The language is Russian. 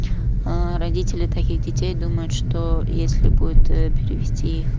аа родители таких детей думают что если будет ээ перевести их